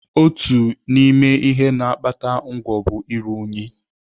Otu n'ime ihe na-akpata ngwọ bụ iru unyi.